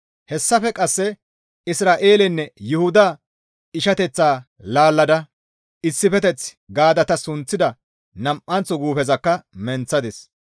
Hessafe qasse Isra7eelenne Yuhuda ishateth laallada, «Issifeteth» gaada ta sunththida nam7anththo guufezakka menththadis.